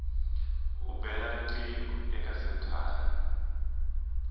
u bela riqingho eka senthara